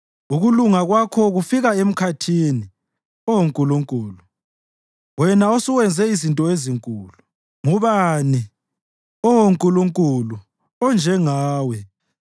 Ukulunga kwakho kufika emkhathini, Oh Nkulunkulu, wena osuwenze izinto ezinkulu. Ngubani, Oh Nkulunkulu, onjengawe?